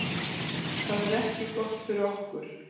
Það er ekki gott fyrir okkur